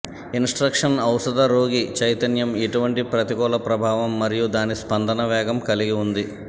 instruction ఔషధ రోగి చైతన్యం ఎటువంటి ప్రతికూల ప్రభావం మరియు దాని స్పందన వేగం కలిగి ఉంది